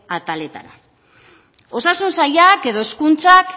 ataletara osasun sailak edo hezkuntzak